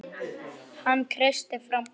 Hann kreisti fram bros.